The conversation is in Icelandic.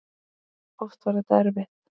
Oft var þetta erfitt.